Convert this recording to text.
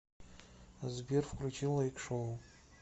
сбер включи лайк шоу